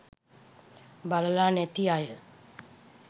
බලලා නැති අය